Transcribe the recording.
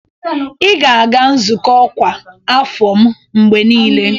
Ị ga-aga nzukọ ọkwa afọ m mgbe niile